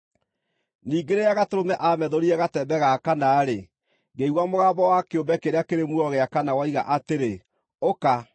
Ningĩ rĩrĩa Gatũrũme aamethũrire gatembe ga kana-rĩ, ngĩigua mũgambo wa kĩũmbe kĩrĩa kĩrĩ muoyo gĩa kana woiga atĩrĩ, “Ũka!”